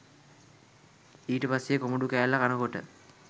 ඊට පස්සෙ කොමඩු කෑල්ල කනකොට